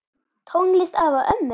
Tónlist afa og ömmu?